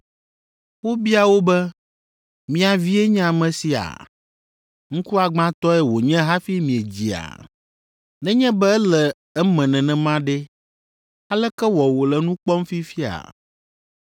Wobia wo be, “Mia vie nye ame sia? Ŋkuagbãtɔe wònye hafi miedzia? Nenye be ele eme nenema ɖe, aleke wɔ wòle nu kpɔm fifia?”